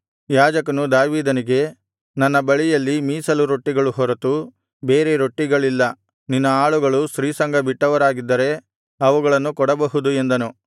ಯಾಜಕನು ದಾವೀದನಿಗೆ ನನ್ನ ಬಳಿಯಲ್ಲಿ ಮೀಸಲು ರೊಟ್ಟಿಗಳು ಹೊರತು ಬೇರೆ ರೊಟ್ಟಿಗಳಿಲ್ಲ ನಿನ್ನ ಆಳುಗಳು ಸ್ತ್ರೀಸಂಗ ಬಿಟ್ಟವರಾಗಿದ್ದರೆ ಅವುಗಳನ್ನು ಕೊಡಬಹುದು ಎಂದನು